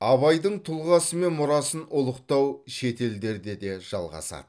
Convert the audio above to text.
абайдың тұлғасы мен мұрасын ұлықтау шетелдерде де жалғасады